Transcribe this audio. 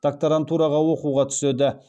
докторантураға оқуға түседі